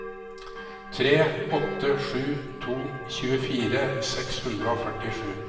tre åtte sju to tjuefire seks hundre og førtisju